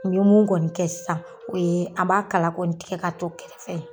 n ye mun kɔni kɛ sisan o ye an b'a kala kɔni tigɛ k'a cɔ kɛrɛfɛ ye.